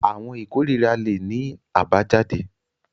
Àwọn ikorira le ní abayjade.